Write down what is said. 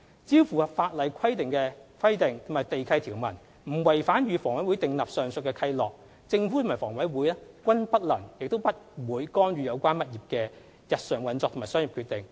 只要符合法例規定及地契條文，不違反與房委會訂立的上述契諾，政府和房委會均不能亦不會干預有關業主的日常運作和商業決定。